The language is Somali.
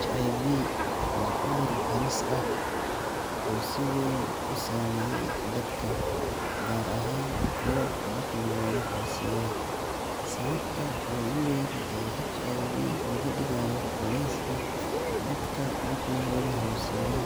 HIV wa cunur halisa oo si weyn u sameye dadka gaar aahan kuwa daqli goda xooseeya. Sawbta oo oguweyn ee Hiv oo gadigayo culeeska dadka daqli goda xooseeya.